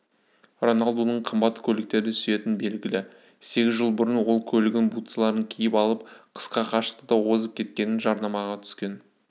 роналдудың қымбат көліктерді сүйетіні белгілі сегіз жыл бұрын ол көлігін бутсыларын киіп алып қысқа қашықтықта озып кеткетін жарнамаға түскен